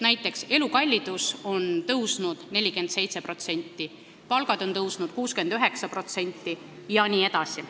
Näiteks elukallidus on tõusnud 47%, palgad on tõusnud 69% jne.